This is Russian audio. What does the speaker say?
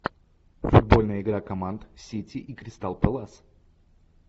футбольная игра команд сити и кристал пэлас